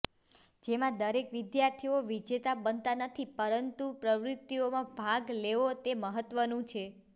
જેમાં દરેક વિધાર્થીઓ વિજેતા બનતા નથી પરંતું પ્રવૃતિઓમાં ભાગ લેવો તે મહત્વનું છે